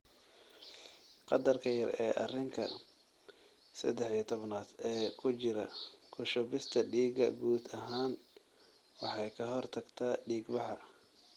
Qadarka yar ee arinka sedex iyo tobnad ee ku jira ku shubista dhiigga guud ahaan waxay ka hortagtaa dhiigbaxa.